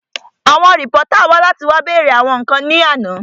Àwọn rìpọ́tà wá láti wá bèèrè àwọn ǹkan ní àná